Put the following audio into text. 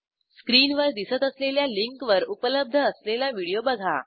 स्क्रीनवर दिसत असलेल्या लिंकवर उपलब्ध असलेला व्हिडिओ बघा